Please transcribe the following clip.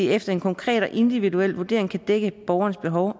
efter en konkret og individuel vurdering kan dække borgerens behov